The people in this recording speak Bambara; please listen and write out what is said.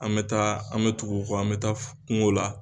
An bɛ taa an bɛ tugu u kɔ an bɛ taa kungo la